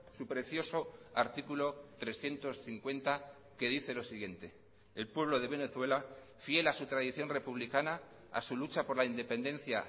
su precioso artículo trescientos cincuenta que dice lo siguiente el pueblo de venezuela fiel a su tradición republicana a su lucha por la independencia